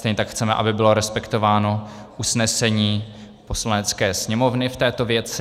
Stejně tak chceme, aby bylo respektováno usnesení Poslanecké sněmovny v této věci.